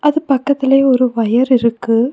அது பக்கத்திலே ஒரு ஒயர் இருக்கு.